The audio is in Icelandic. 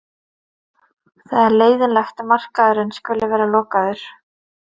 Það er leiðinlegt að markaðurinn skuli vera lokaður.